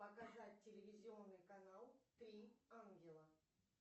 показать телевизионный канал три ангела